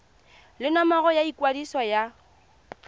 le nomoro ya ikwadiso ya